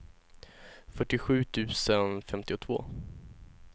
fyrtiosju tusen femtiotvå